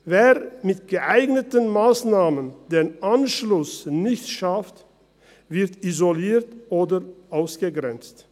Wer mit geeigneten Massnahmen den Anschluss nicht schafft, wird isoliert oder ausgegrenzt.